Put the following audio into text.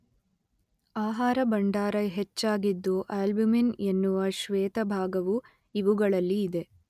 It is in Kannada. ಆಹಾರ ಭಂಡಾರ ಹೆಚ್ಚಾಗಿದ್ದು ಅಲ್ಬುಮಿನ್ ಎನ್ನುವ ಶ್ವೇತಭಾಗವು ಇವುಗಳಲ್ಲಿ ಇದೆ.